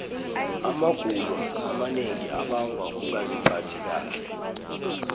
amagulo amanengi abangwa kungaziphathi kahle